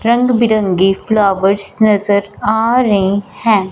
रंग बिरंगे फ्लावर्स नजर आ रे है।